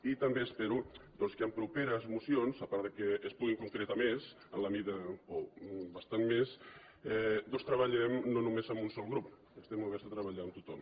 i també espero que en properes mocions a part que es pugui concretar més o bastant més doncs treballem no només amb un sol grup estem oberts a tre·ballar amb tothom